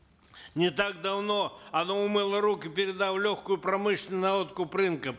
не так давно оно умыло руки передав легкую промышленность на откуп рынка